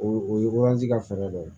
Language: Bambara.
O o ye ka fɛɛrɛ dɔ ye